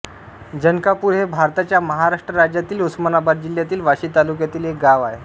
जनकापूर हे भारताच्या महाराष्ट्र राज्यातील उस्मानाबाद जिल्ह्यातील वाशी तालुक्यातील एक गाव आहे